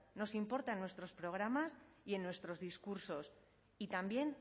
nos importan nuestros programas y en nuestros discursos y también